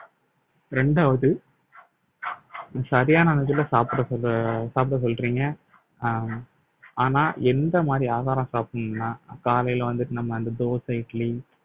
இரண்டாவது சரியான சாப்பிட சொல்~ சாப்பிட சொல்றீங்க அஹ் ஆனால் எந்த மாதிரி ஆகாரம் சாப்பிடணும்னா காலையில வந்துட்டு நம்ம அந்த தோசை இட்லி